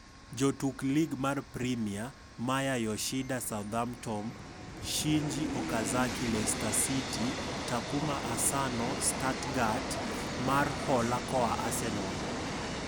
Jotuk Lig mar Premia: Maya Yoshida (Southampton), Shinji Okazaki (Leicester City), Takuma Asano (Stuttgart, mar hola koa Arsenal).